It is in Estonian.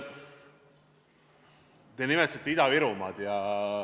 Te nimetasite Ida-Virumaad.